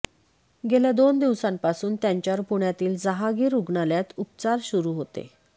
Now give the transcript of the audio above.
गेल्या दोन दिवसांपासून त्यांच्यावर पुण्यातील जहांगीर रुग्णालयात उपचार सुरू होते